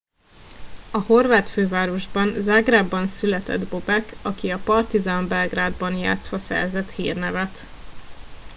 a horvát fővárosban zágrábban született bobek aki a partizan belgrádban játszva szerzett hírnevet